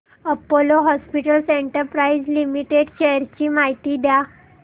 Apollo hospitals enterprise limited shares ची माहिती द्या